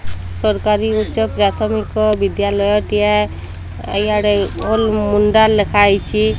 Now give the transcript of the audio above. ସରକାରୀ ଉଚ୍ଚ ପ୍ରାଥମିକ ବିଦ୍ୟାଲୟ ଟିଏ ଇଆଡେ ଘୋଲ ମୁଣ୍ଡା ଲେଖା ହେଇଚି।